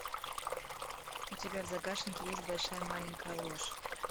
у тебя в загашнике есть большая маленькая ложь